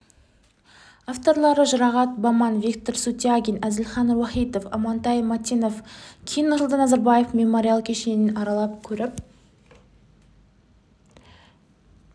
авторлары жұрағат баман виктор сутягин әзілхан уахитов амантай мәтенов кейін нұрсұлтан назарбаев мемориал кешенін аралап көріп